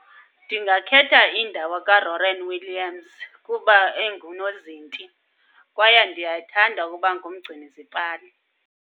Ndingakhetha indawo kaRonwen Williams kuba engunozinti. Kwaye ndiyathanda ukuba ngumgcini zipali.